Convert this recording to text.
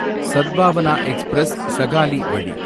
Sadbhavana express சகாலி வழி